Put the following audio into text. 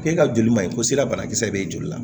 K'e ka joli man ɲi ko sira banakisɛ bɛ joli la